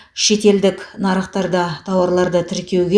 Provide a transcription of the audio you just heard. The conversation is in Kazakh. шетелдік нарықтарда тауарларды тіркеуге